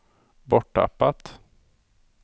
borttappat